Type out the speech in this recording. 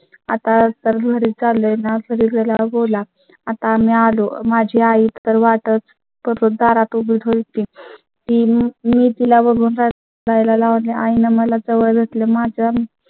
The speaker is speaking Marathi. आता तर घरीच आले नाही तरी जर या बोला आता आम्ही आलो माझी आई तर वाटच करून दारात उभी होईल. तेहतीस मी तिला बघून जाय ला लागला आहे ना मला जवळ घेतले माझं